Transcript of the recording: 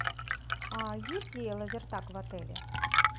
есть ли лазертаг в отеле